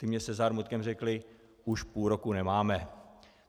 Ti mi se zármutkem řekli: Už půl roku nemáme.